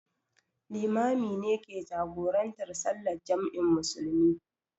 Limami ne ke jagorantar sallar jam'in musulmi.